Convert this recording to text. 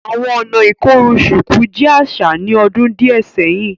Awọn ọ̀nà ikorùn ṣukù jẹ aṣa ní òdún díẹ̀ sẹ̀hin